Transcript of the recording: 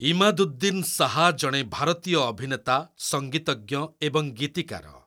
ଇମାଦୁଦ୍ଦିନ ଶାହା ଜଣେ ଭାରତୀୟ ଅଭିନେତା, ସଂଗୀତଜ୍ଞ ଏବଂ ଗୀତିକାର।